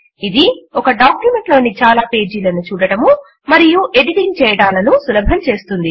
ఇది ఒక డాక్యుమెంట్ లోని చాలా పేజీలను చూడడము మరియు ఎడిటింగ్ చేయడములను సులభం చేస్తుంది